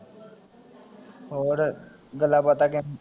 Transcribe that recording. ਹੋਰ ਗੱਲਬਾਤਾਂ ਚ